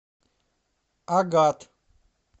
агат